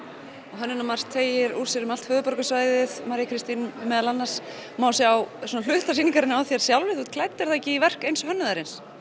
og Hönnunarmars teygir úr sér um allt höfuðborgarsvæðið María Kristín meðal annars má sjá hluta sýningarinnar á þér sjálfri þú ert klædd í er það ekki verk eins hönnuðarins